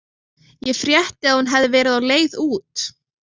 Ég frétti að hún hefði verið á leið út.